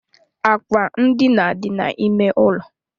Akwa ndina dị na ímé ụlọ.